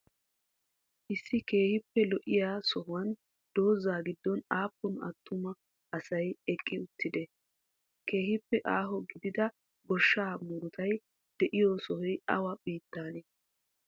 issi keehippe lo7iya sohuwan dooza giddon appun attumma asay eqqi uttidee? keehippe aho giddida goshshaa muruttay de7iyo sohoy awa bittanee?